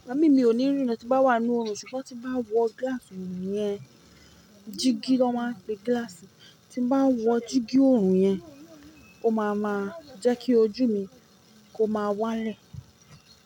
Igba mii mí ò ní rí na tí n bá wà n nú oorun ṣùgbọ́n tí n bá wọ gíláàsì oorun yẹn, dígí ni wọ́n máa ń pe gíláàsì tí ń ba wọ dígí oorun yẹn, ó máa ma jẹ́ kí ojú mi kó máa wálẹ̀.